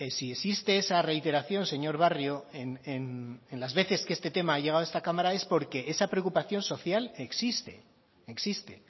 si existe esa reiteración señor barrio en las veces que este tema ha llegado esta cámara es porque esa preocupación social existe existe